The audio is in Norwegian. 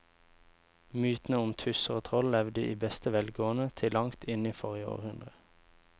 Mytene om tusser og troll levde i beste velgående til langt inn i forrige århundre.